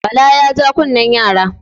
Bala ya ja kunne yara.